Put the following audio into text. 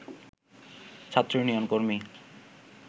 ছাত্র ইউনিয়ন কর্মী